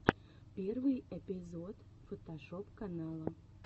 первый эпизод фотошоп канала